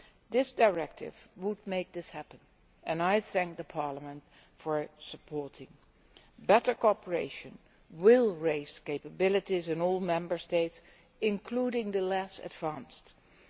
This directive would make this happen, and I thank Parliament for supporting better cooperation, which will raise capabilities in all Member States including the less advanced ones.